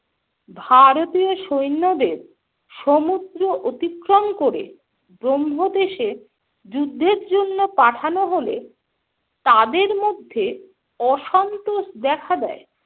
ভারতীয় সৈন্যদের সমুদ্র অতিক্রম করে ব্রহ্মদেশে যুদ্ধের জন্য পাঠানো হলে তাদের মধ্যে অসন্তোষ দেখা দেয়।